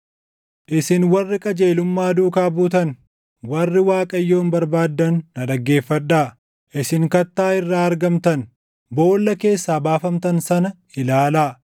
“Isin warri qajeelummaa duukaa buutan, warri Waaqayyoon barbaaddan na dhaggeeffadhaa: Isin kattaa irraa argamtan, boolla keessaa baafamtan sana ilaalaa.